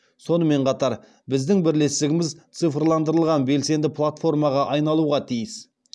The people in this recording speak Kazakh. сонымен қатар біздің бірлестігіміз цифрландырылған белсенді платформаға айналуға тиіс